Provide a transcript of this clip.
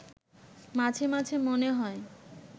মাঝে মাঝে মনে হয়